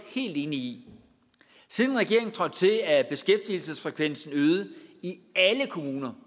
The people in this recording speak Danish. helt enig i siden regeringen trådte til er beskæftigelsesfrekvensen øget i alle kommuner